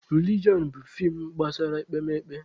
Rilijọn bụ feem gbasara ekpemekpe.